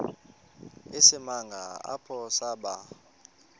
isimanga apho saba